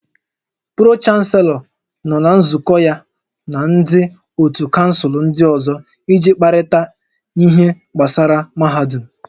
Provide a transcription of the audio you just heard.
Pro-chanselọ nọ na nzukọ ya na ndị ótú kansụl ndị ọzọ iji kparịta ihe gbasara mahadum